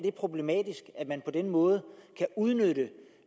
er problematisk at man på den måde kan udnytte